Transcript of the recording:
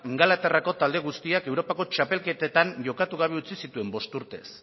ingalaterrako talde guztiak europako txapelketetan jokatu gabe utzi zituen bost urtez